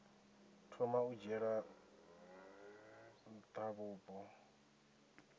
thoma u dzhiela nha vhupo